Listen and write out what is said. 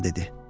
Atam dedi.